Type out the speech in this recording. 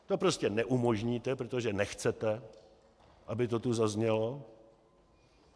To prostě neumožníte, protože nechcete, aby to tu zaznělo.